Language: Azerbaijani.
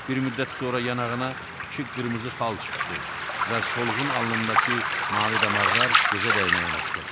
Bir müddət sonra yanağına iki qırmızı xal çıxdı və solğun alnındakı mavi damarlar gözə dəyməyə başladı.